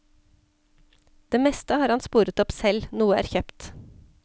Det meste har han sporet opp selv, noe er kjøpt.